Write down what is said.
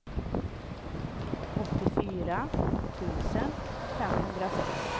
åttiofyra tusen femhundrasex